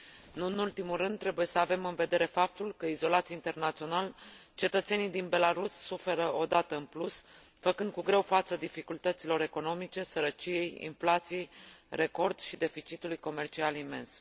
Nu în ultimul rând, trebuie să avem în vedere faptul că, izolați internațional, cetățenii din Belarus suferă o dată în plus, făcând cu greu față dificultăților economice, sărăciei, inflației record și deficitului comercial imens.